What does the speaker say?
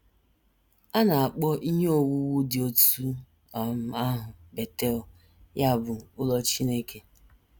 A na - akpọ ihe owuwu dị otú um ahụ Betel, ya bụ, ‘ Ụlọ Chineke. ’”